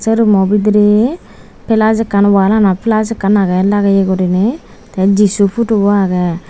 sei rummo bidirey pelus ekkan walanot pelus ekkan agey lageye guriney tey jisu phutubo agey.